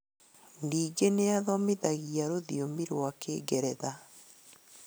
Ningĩ nĩathomithagio rũthiomi rwa Kĩngeretha